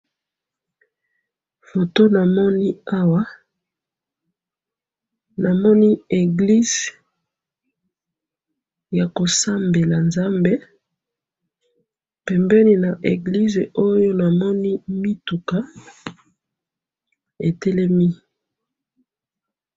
photo namoni awa, namoni églie yako sambela nzambe, pembeni na église oyo, namoni mituka etelemi.